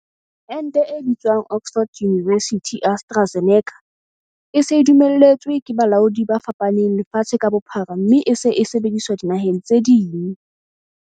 Ente e bitswang Oxford University-AstraZeneca e se e dumelletswe ke balaodi ba fapaneng lefatshe ka bophara mme e se e sebediswa dinaheng tse ding.